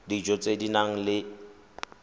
dijo tse di nang le